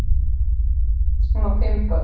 Hún á fimm börn.